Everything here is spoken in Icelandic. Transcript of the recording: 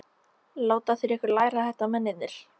Láta þeir ykkur læra þetta mennirnir?